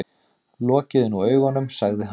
Lokiði nú augunum, sagði hann.